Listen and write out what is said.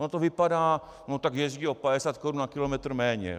Ono to vypadá - no, tak jezdí o 50 Kč na kilometr méně.